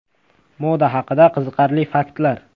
Moda haqida qiziqarli faktlar.